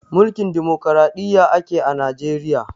Mulkin dimukuraɗiyya ake a najeriya